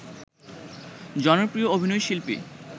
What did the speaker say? জনপ্রিয় অভিনয় শিল্পী